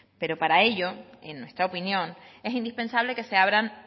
pero para ello en nuestra opinión es indispensable que se abran